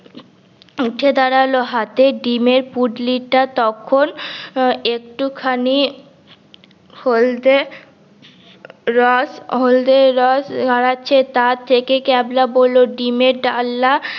উঠে দাঁড়াল হাতে ডিমের পুটলি টা তখন আহ একটু খানি হলদে রস হলদে রস গড়াচ্ছে তার থেকে ক্যাবলা বললো ডিমের ডালনা